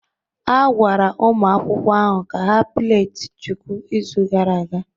A gwara ụmụ akwụkwọ ahụ ka ha plait chuku izu gara aga